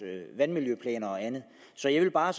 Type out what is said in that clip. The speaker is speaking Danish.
vandmiljøplaner og andet så jeg vil bare